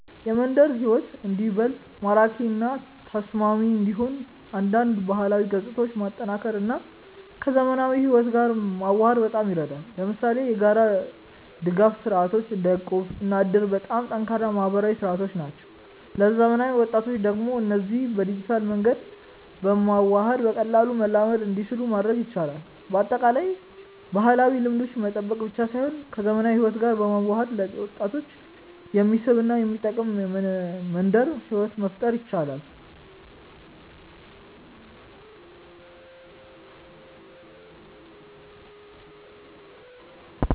የመንደር ሕይወት እንዲበልጥ ማራኪ እና ተስማሚ እንዲሆን አንዳንድ ባህላዊ ገጽታዎችን ማጠናከር እና ከዘመናዊ ሕይወት ጋር መዋሃድ በጣም ይረዳል። ለምሳሌ የጋራ ድጋፍ ስርዓቶች እንደ እቁብ እና እድር በጣም ጠንካራ የማህበራዊ መሰረቶች ናቸው። ለዘመናዊ ወጣቶች ደግሞ እነዚህን በዲጂታል መንገድ በማዋሃድ በቀላሉ መላመድ እንዲችሉ ማድረግ ይቻላል። በአጠቃላይ፣ ባህላዊ ልምዶችን መጠበቅ ብቻ ሳይሆን ከዘመናዊ ሕይወት ጋር በመዋሃድ ለወጣቶች የሚስብ እና የሚጠቅም መንደር ሕይወት መፍጠር ይቻላል።